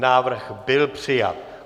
Návrh byl přijat.